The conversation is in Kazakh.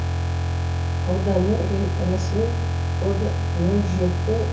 ауданның ресми коды нөл жеті